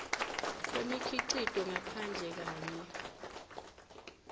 kwemikhicito ngaphandle kanye